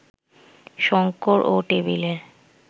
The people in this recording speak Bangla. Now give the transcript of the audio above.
শঙ্কর ও টেবিলের